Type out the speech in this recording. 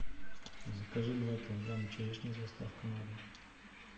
закажи два килограмма черешни с доставкой на дом